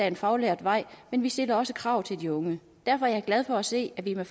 en faglært vej men vi stiller også krav til de unge derfor er jeg glad for at se at vi med